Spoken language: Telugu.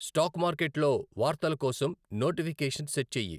స్టాక్ మార్కెట్లో వార్తల కోసం నోటిఫికేషన్ సెట్ చెయ్యి